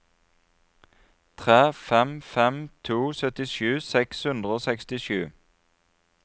tre fem fem to syttisju seks hundre og sekstisju